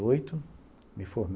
Oito, me forme